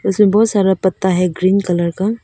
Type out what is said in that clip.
इसमें बहुत सारा पत्ता है ग्रीन कलर का।